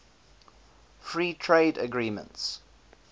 free trade agreements